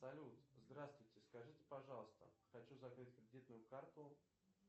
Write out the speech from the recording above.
салют здравствуйте скажите пожалуйста хочу закрыть кредитную карту